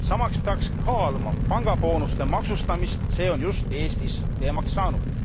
Samas peaks kaaluma pangaboonuste maksustamist, see on just Eestis teemaks saanud.